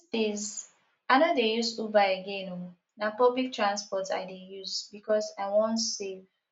dis days i no dey use uber again oo na public transport i dey use because i wan save